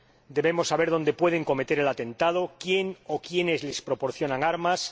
debemos saber dónde pueden cometer el atentado, quién o quiénes les proporcionan armas